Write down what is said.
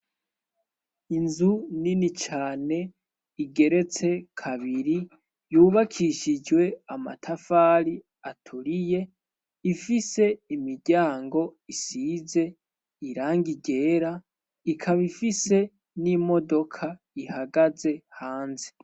inzu nini cane igeretse kabiri yubakishijwe amatafari aturiye ifise imiryango isize irangi ryera ikaba ifise n'imodoka ihagaze hanze